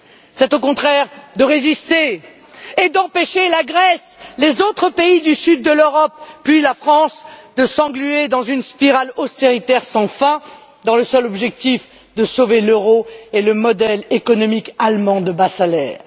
C'est au contraire de résister et d'empêcher la Grèce, les autres pays du sud de l'Europe, puis la France de s'engluer dans une spirale austéritaire sans fin, dans le seul objectif de sauver l'euro et le modèle économique allemand de bas salaires.